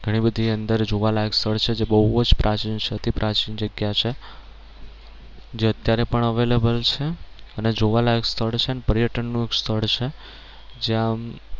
ઘણી બધી અંદર જોવાલાયક સ્થળ છે જે બહુ જ પ્રાચીન અતિ પ્રાચીન જગ્યા છે જે અત્યારે પણ available છે અને જોવાલાયક સ્થળ છે અને પર્યટન નું એક સ્થળ છે જ્યાં